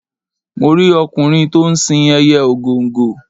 Mo rí ọkùnrin to ń sin ẹyẹ ògòǹgò.